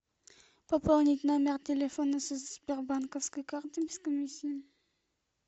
пополнить номер телефона со сбербанковской карты без комиссии